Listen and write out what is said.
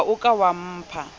ha o ka wa mpha